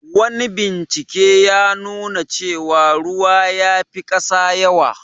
Wani bincike ya nuna cewa ruwa ya fi kasa yawa.